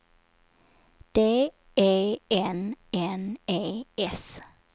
D E N N E S